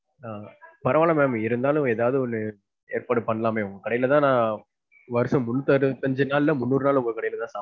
ஆஹ் பரவாயில்ல mam இருந்தாலும் எதாவது ஒன்னு ஏற்பாடு பண்லாம்ல ma'am உங்க கடைல தான் வருஷம் முன்னூத்தி அறுபத்து அஞ்சு நாள்ல முன்னூறு நாள் உங்க கடைல தான்